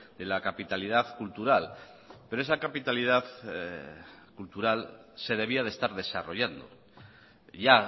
de la capitalidad cultural pero esa capitalidad cultural se debía de estar desarrollando ya